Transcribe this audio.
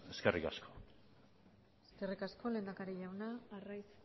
eskerrik asko eskerrik asko lehendakari jauna arraiz